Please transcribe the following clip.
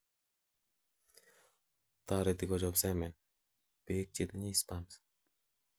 toreti kochob semen, beek chetinyei sperms